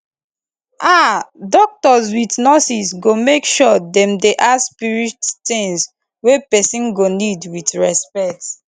aah doctors with nurses go make sure dem dey ask spirit tings wey pesin go need with respect